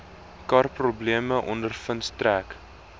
karprobleme ondervind trek